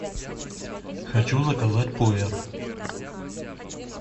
хочу заказать пуэр